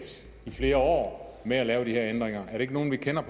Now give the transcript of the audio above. i flere år med at lave de her ændringer er det ikke nogle vi kender